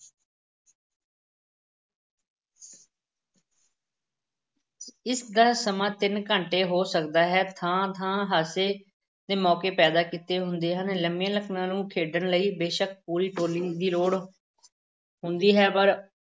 ਇਸ ਦਾ ਸਮਾਂ ਤਿੰਨ ਘੰਟੇ ਤੱਕ ਹੋ ਸਕਦਾ ਹੈ, ਥਾਂ-ਥਾਂ ਹਾਸੇ ਦੇ ਮੌਕੇ ਪੈਦਾ ਕੀਤੇ ਹੁੰਦੇ ਹਨ, ਲੰਮੀਆਂ ਨਕਲਾਂ ਨੂੰ ਖੇਡਣ ਲਈ ਬੇਸ਼ੱਕ ਪੂਰੀ ਟੋਲੀ ਦੀ ਲੋੜ ਹੁੰਦੀ ਹੈ ਪਰ